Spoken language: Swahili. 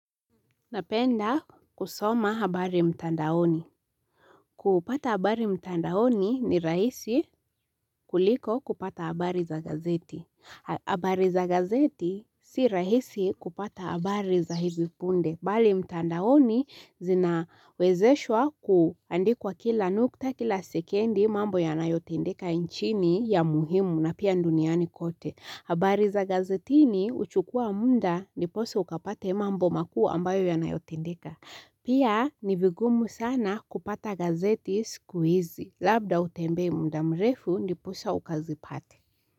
Napenda kusoma habari mtandaoni. Kupata habari mtandaoni ni raisi kuliko kupata habari za gazeti. Habari za gazeti si rahisi kupata habari za hivi punde. Mbali mtandaoni zinawezeshwa kuandikwa kila nukta kila sekendi mambo ya nayotendeka nchini ya muhimu na pia duniani kote. Habari za gazetini huchukua muda ndiposa ukapate mambo makuu ambayo yanayotendeka. Pia ni vigumu sana kupata gazeti siku hizi, labda utembee mda mrefu ndiposa ukazipate.